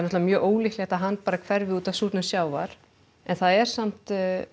mjög ólíklegt að hann bara hverfi út af súrnun sjávar en það er samt